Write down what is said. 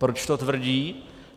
Proč to tvrdí?